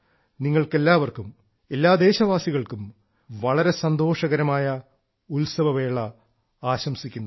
നിങ്ങൾക്കെല്ലാവർക്കും എല്ലാ ദേശവാസികൾക്കും വളരെ സന്തോഷകരമായ ഉത്സവവേള ആശംസിക്കുന്നു